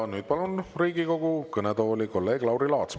Ja nüüd palun Riigikogu kõnetooli kolleeg Lauri Laatsi.